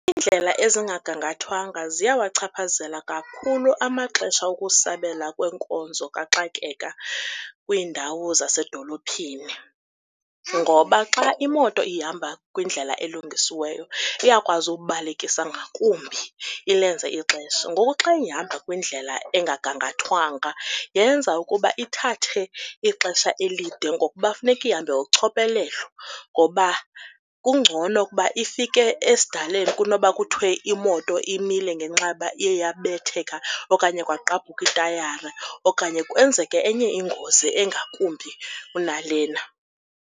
Iindlela ezingagangathwanga ziyawachaphazela kakhulu amaxesha okusabela kweenkonzo kaxakeka kwiindawo zasedolophini, ngoba xa imoto ihamba kwindlela elungisiweyo iyakwazi ubalekisa ngakumbi ilenze ixesha. Ngoku xa ihamba kwindlela engagangathwanga yenza ukuba ithathe ixesha elide ngokuba funeke ihambe kochophelelo ngoba kungcono ukuba ifike esidaleni kunoba kuthiwe imoto imile ngenxa yoba iye yabetheka okanye kwagqabhuka itayari okanye kwenzeke enye ingozi engakumbi kunalena.